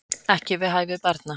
Ekki við hæfi barna